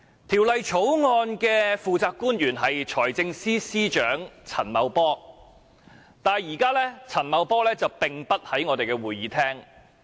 《條例草案》的負責官員是財政司司長陳茂波，但現時陳茂波並不在會議廳內。